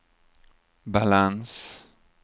balans